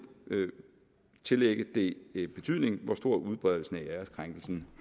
kan tillægge det betydning hvor stor udbredelsen af æreskrænkelsen